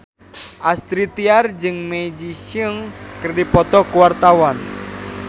Astrid Tiar jeung Maggie Cheung keur dipoto ku wartawan